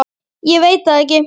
Ég veit það ekki